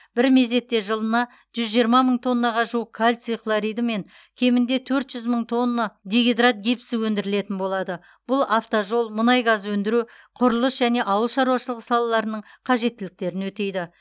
бір мезетте жылына жүз жиырма мың тоннаға жуық кальций хлориді мен кемінде төрт жүз мың тонна дигидрат гипсі өндірілетін болады бұл автожол мұнай газ өндіру құрылыс және ауыл шаруашылығы салаларының қажеттіліктерін өтейді